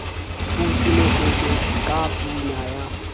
butse mokete ka pina ya